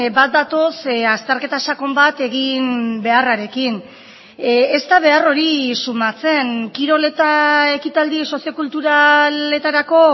bat datoz azterketa sakon bat egin beharrarekin ez da behar hori sumatzen kirol eta ekitaldi sozio kulturaletarako